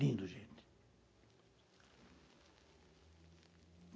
Lindo, gente.